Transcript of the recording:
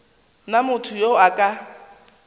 na motho yo a ka